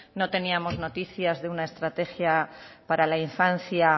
no teníamos noticias de una estrategia para la infancia